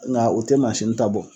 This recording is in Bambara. Nka u tɛ mansini ta bɔ.